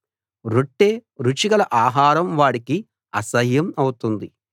రొట్టె రుచిగల ఆహారం వాడికి అసహ్యం అవుతుంది